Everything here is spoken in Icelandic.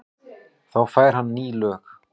Þá fær hann ný lög.